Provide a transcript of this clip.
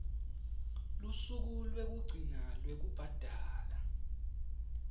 lusuku lwekugcina lwekubhadala